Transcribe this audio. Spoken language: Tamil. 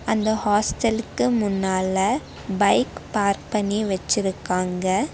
அந்த ஹாஸ்டலுக்கு முன்னால பைக் பார்க் பண்ணி வெச்சிருக்காங்க.